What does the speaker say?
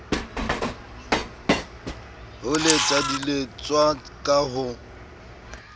ho letsa diletswa ka ho